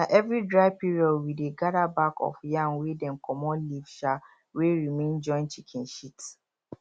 na every dry period wey dey gather back of yam wey dem comot leaf um wey remain join chicken shit